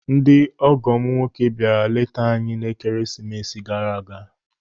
Ndị ọgọ m nwoke bịara leta anyị n'Ekeresimesị gara aga.